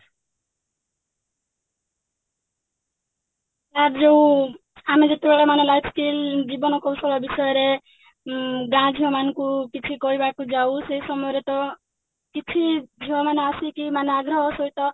sir ଯଉ ଆମେ ଯେତେବେଳେ ମାନେ life skill ଜୀବନ କୌଶଳ ବିଷୟରେ ଉଁ ଗାଁ ଝିଅ ମାନଙ୍କୁ କିଛି କହିବାକୁ ଯାଉ ସେ ସମୟରେ ତ କିଛି ଝିଅମାନେ ଆସିକି ମାନେ ଆଗ୍ରହ ସହିତ